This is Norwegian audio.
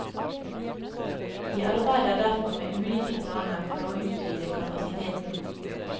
Vi arbeider derfor med ulike planer for å utvide kapasiteten.